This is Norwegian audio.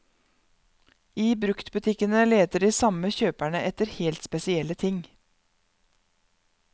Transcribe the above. I bruktbutikkene leter de samme kjøperne etter helt spesielle ting.